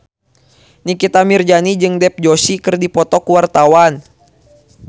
Nikita Mirzani jeung Dev Joshi keur dipoto ku wartawan